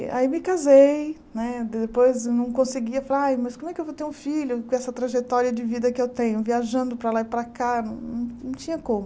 Aí me casei, né de depois não conseguia falar ai, mas como é que eu vou ter um filho com essa trajetória de vida que eu tenho, viajando para lá e para cá, não não não tinha como.